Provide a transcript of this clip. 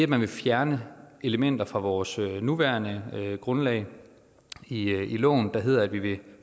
man vil fjerne elementer fra vores nuværende grundlag i i loven der hedder at vi vil